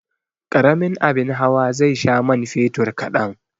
Karamin abin hawa zai sha man fetur kadan.